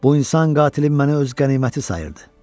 Bu insan qatilin məni öz qəniməti sayırdı.